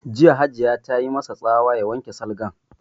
Jiya Hajiya ta yi ma sa tsawa ya wanke salgan!